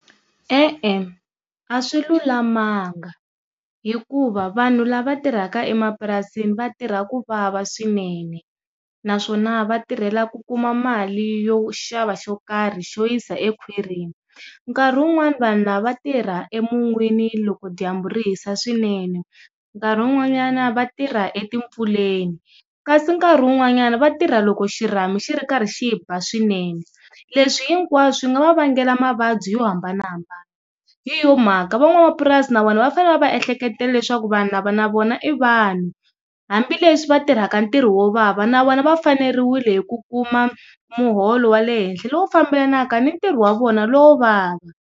E-e, a swi lulamanga hikuva vanhu lava va tirhaka emapurasini va tirha ku vava swinene naswona va tirhelaku kuma mali yo xava xo karhi xo yisa ekhwirini nkarhi wun'wani vanhu lava tirha emun'wini loko dyambu ri hisa swinene, nkarhi wun'wanyana va tirha etimpfuleni kasi nkarhi wun'wanyana vatirha loko xirhami xi ri karhi xiba swinene leswi hinkwaswo swi nga va vangela mavabyi yo hambanahambana hi yo mhaka van'wamapurasi na vona va fane va va ehlekete leswaku vanhu lava na vona i vanhu hambileswi va tirhaka ntirho wo vava na vona va fanerile hi ku kuma muholo wa le henhla lowu fambelanaka ni ntirho wa vona lowo vava.